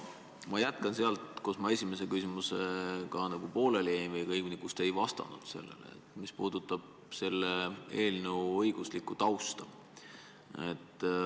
Ma jätkan sealt, kus ma oma esimese küsimusega pooleli jäin, või õigemini sealt, kus te ei vastanud sellele, mis puudutab eelnõu õiguslikku tausta.